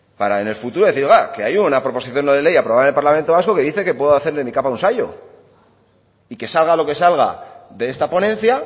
para en el futuro decir oiga que hay una proposición no de ley aprobada en el parlamento vasco que dice que puedo hacer de mi capa un sayo y que salga lo que salga de esta ponencia